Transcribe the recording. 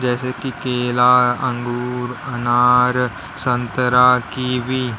जैसे कि केला अंगूर अनार संतरा कीवी।